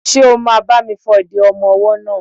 Ṣé o máa bá mi fọ ìdí ọmọ-ọwọ́ náà?